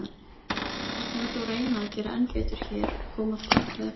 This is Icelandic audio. Við skulum þó reyna að gera enn betur hér og koma þá beint að efninu.